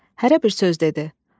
Hərə bir söz dedi.